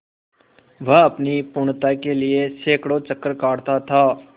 वह अपनी पूर्णता के लिए सैंकड़ों चक्कर काटता था